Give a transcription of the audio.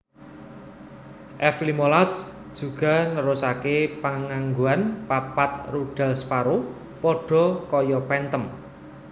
F limolas juga nerusaké panganggoan papat rudal Sparrow padha kaya Phantom